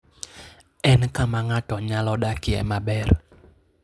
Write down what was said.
En kama ng'ato nyalo dakie maber.